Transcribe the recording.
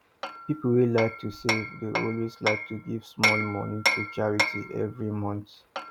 people wey like to save dey also like to give small money to charity every month